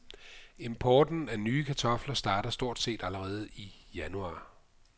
Importen af nye kartofler starter stort set allerede i januar.